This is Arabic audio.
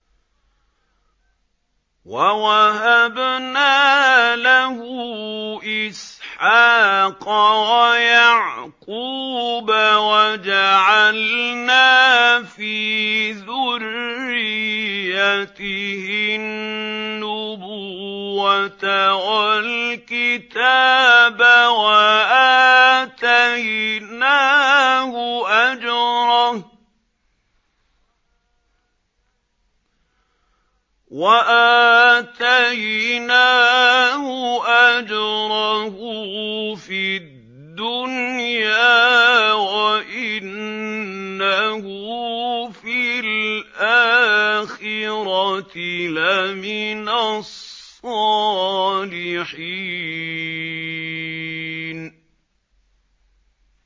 وَوَهَبْنَا لَهُ إِسْحَاقَ وَيَعْقُوبَ وَجَعَلْنَا فِي ذُرِّيَّتِهِ النُّبُوَّةَ وَالْكِتَابَ وَآتَيْنَاهُ أَجْرَهُ فِي الدُّنْيَا ۖ وَإِنَّهُ فِي الْآخِرَةِ لَمِنَ الصَّالِحِينَ